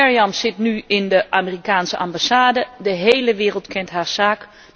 Meriam zit nu in de Amerikaanse ambassade, de hele wereld kent haar zaak.